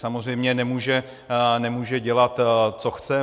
Samozřejmě nemůže dělat, co chce.